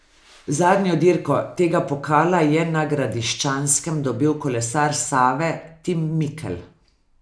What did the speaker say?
Zadnjo dirko tega pokala je na Gradiščanskem dobil kolesar Save Tim Mikelj.